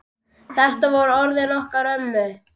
Þetta voru orðin okkar ömmu.